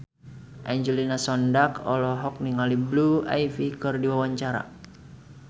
Angelina Sondakh olohok ningali Blue Ivy keur diwawancara